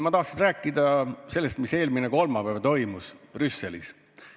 Ma tahaksin rääkida sellest, mis toimus eelmisel kolmapäeval Brüsselis.